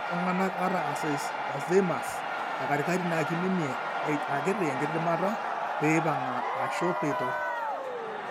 ore iltungana ata Alzheimers ekatikati na kiminie akitienkidimata peipanga ashu peitorr.